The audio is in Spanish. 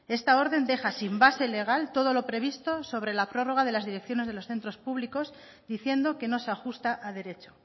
esta orden deja sin base legal todo lo previsto sobre la prórroga de las direcciones de los centros públicos diciendo que no se ajusta a derecho